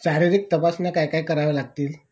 शारीरिक तपासण्या काय काय कराव्या लागतील